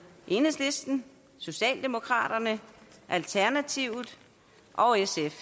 enhedslisten socialdemokraterne alternativet og sf